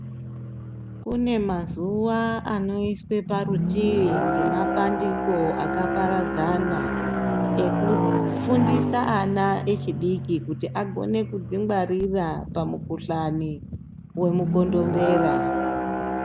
Kune mazuwa anoiswe parutivi ngemapandiko akaparadzana ekufundisa ana echidiki kuti agone kuzingwarira pamukhuhlani wemukondombera.